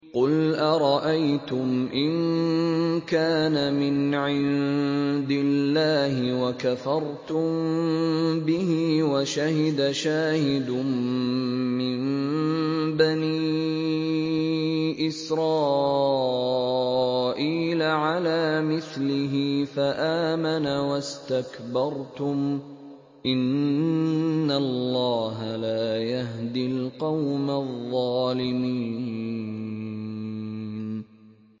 قُلْ أَرَأَيْتُمْ إِن كَانَ مِنْ عِندِ اللَّهِ وَكَفَرْتُم بِهِ وَشَهِدَ شَاهِدٌ مِّن بَنِي إِسْرَائِيلَ عَلَىٰ مِثْلِهِ فَآمَنَ وَاسْتَكْبَرْتُمْ ۖ إِنَّ اللَّهَ لَا يَهْدِي الْقَوْمَ الظَّالِمِينَ